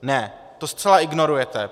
Ne, to zcela ignorujete.